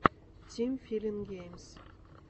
тим филин геймс